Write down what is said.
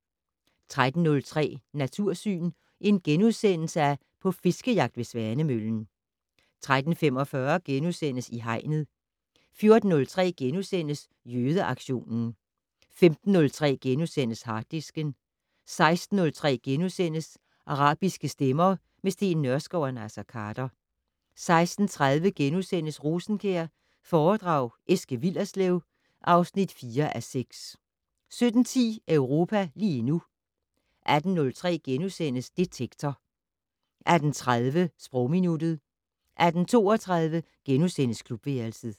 13:03: Natursyn: På fiskejagt ved Svanemøllen * 13:45: I Hegnet * 14:03: Jødeaktionen * 15:03: Harddisken * 16:03: Arabiske stemmer - med Steen Nørskov og Naser Khader * 16:30: Rosenkjær foredrag Eske Willerslev (4:6)* 17:10: Europa lige nu 18:03: Detektor * 18:30: Sprogminuttet 18:32: Klubværelset *